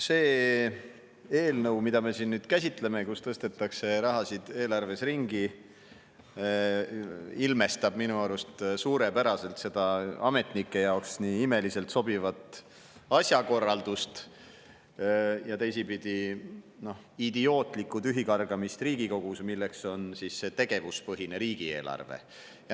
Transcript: See eelnõu, mida me siin käsitleme ja millega tõstetakse raha eelarves ringi, ilmestab minu arust suurepäraselt seda ametnike jaoks nii imeliselt sobivat asjakorraldust ja teisipidi idiootlikku tühikargamist Riigikogus, milleks on see tegevuspõhine riigieelarve.